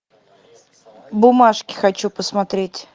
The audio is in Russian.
бумажки хочу посмотреть